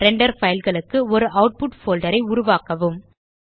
render file களுக்கு ஒரு output folder ஐ உருவாக்கவும்